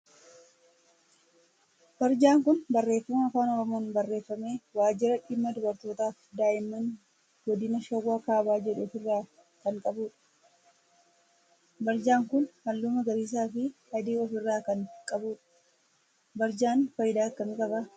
Barjaan kun barreeffama afaan oromoon barreeffame waajira dhimma dubartootaa fi daa'imman godina shawaa kaabaa jedhu of irraa kan qabudha. Barjaan kun halluu magariisaa fi adii of irraa kan qabudha. Barjaan faayidaa akkamii qaba?